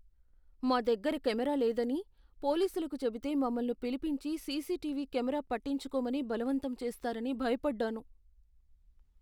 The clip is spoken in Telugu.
మా దగ్గర కెమెరా లేదని పోలీసులకు చెబితే మమ్మల్ని పిలిపించి సీసీటీవీ కెమెరా పెట్టించుకోమని బలవంతం చేస్తారని భయపడ్డాను.